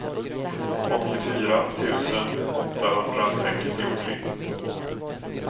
åttiofyra tusen åttahundrasextiotre